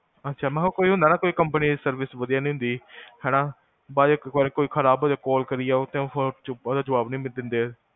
ਅਛਾ, ਮੈਂ ਕੇਹਾ ਕੋਈ ਹੁੰਦਾ ਨਾ, ਕੋਈ service service ਵਦੀਆਂ ਨੀ ਹੁੰਦੀ, ਹੈਨਾ ਕੋਈ ਖਰਾਬ ਹੋਜੇ, ਕਾਲ ਕਰਿ ਜਾਓ, ਓਦਾ ਜਵਾਬ ਨੀ ਦਿੰਦੇ